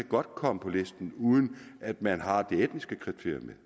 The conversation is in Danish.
godt komme på listen uden at man har det etniske kriterium med